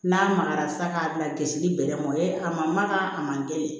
N'a magayara sa k'a bilasili bɛlɛ mɔ ye a ma maka a man gɛlɛn